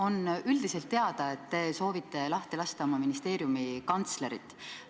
On üldiselt teada, et te soovite lahti lasta oma ministeeriumi kantslerit.